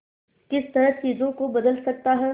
किस तरह चीजों को बदल सकता है